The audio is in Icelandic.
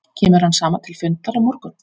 Kemur hann saman til fundar á morgun?